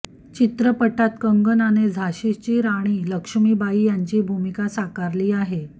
चित्रपटात कंगनाने झाशीची राणी लक्ष्मीबाई यांची भूमिका साकारली आहे